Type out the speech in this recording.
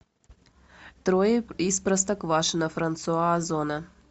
трое из простоквашино франсуа озона